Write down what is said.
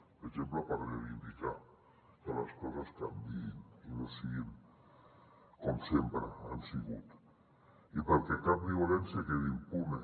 per exemple per reivindicar que les coses canviïn i no siguin com sempre han sigut i perquè cap violència quedi impune